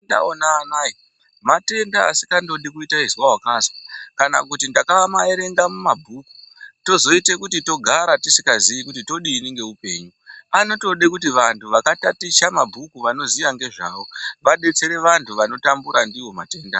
Ndaonanae matenda asingandodi izwa wanasa kana kuti takamaerenga mumabhuku tozoite kuti togara tisikazii kuti todini ngeupenyu panotode vantu vakataticha mabhuku vanoziya ngezvawo adetsere vantu vanotambura ndiwo matenda.